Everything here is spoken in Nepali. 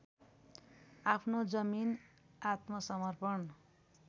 आफ्नो जमिन आत्मसमर्पण